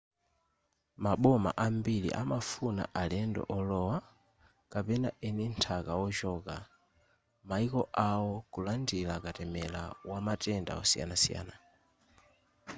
maboma ambiri amafuna alendo olowa kapena eni nthaka ochoka maiko awo kulandira katemera wamatenda osiyanasiyana